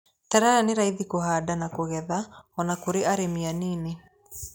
Terere nĩ raithi kũhanda na kũgetha o na kũri arĩmi anini.